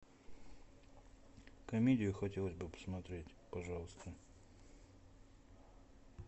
комедию хотелось бы посмотреть пожалуйста